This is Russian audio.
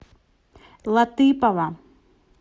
латыпова